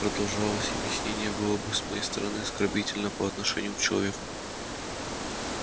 продолжать объяснение было бы с моей стороны оскорбительно по отношению к человеку